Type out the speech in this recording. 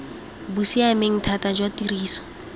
bo siameng thata jwa tiriso